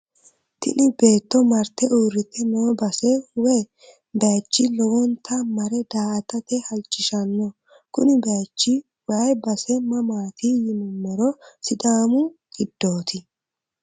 tini beetto marte uurite noo base woy bayiichi lowonta mare daa"atate halchishanno kuni bayiichi woyi base mamaati yinummoro sidaamu giddooti.